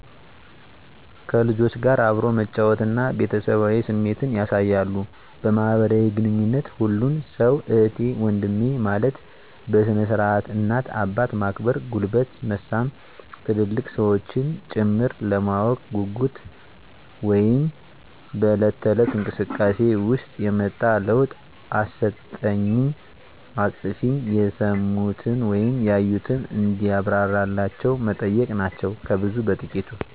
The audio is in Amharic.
ከልጆች ጋር አብሮ መጫወት እና ቤተሰባዊ ስሜት ያሣያሉ። በማህበራዊ ግንኙነት ሁሉን ሠው እህቴ ወንድሜ ማለት፤ በስነ-ስርዓት እናት አባት ማክበር ጉልበት መሣም ትልልቅ ሠዎችንም ጭምር፤ ለማወቅ ጉጉት (በለት ተለት)እንቅስቃሴ ውሰጥ የመጣ ለውጥ አስጠኝኝ፣ አስፅፊኝ፣ የሠሙትን ወይም ያዩትን እንዲብራራላቸው መጠየቅ ናቸው ከብዙ በጥቂት።